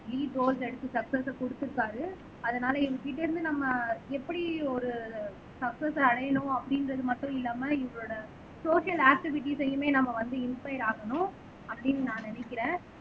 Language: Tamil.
லீட் ரோல்ஸ் எடுத்து சக்ஸச கொடுத்திருக்காரு அதனால இவங்ககிட்ட இருந்து நம்ம எப்படி ஒரு சக்ஸச அடையணும் அப்படின்றது மட்டும் இல்லாம இவங்களோடசோசியல் ஆக்டிவிடீஸயுமே நம்ம வந்து இன்ஸ்பயர் ஆகணும் அப்படின்னு நான் நினைக்கிறேன்